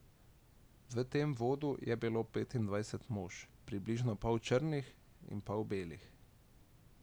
V tem vodu je bilo petindvajset mož, približno pol črnih in pol belih.